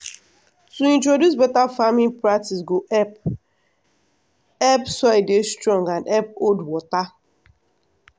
to introduce better farming practice go help help soil dey strong and help hold water.